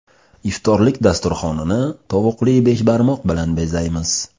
Iftorlik dasturxonini tovuqli beshbarmoq bilan bezaymiz.